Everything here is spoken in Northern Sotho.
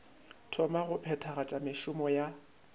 thoma go phethagatša mešomo ya